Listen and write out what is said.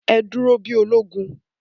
Ẹ dúró bí ológun!